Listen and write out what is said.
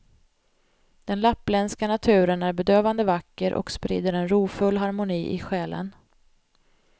Den lappländska naturen är bedövande vacker och sprider en rofull harmoni i själen.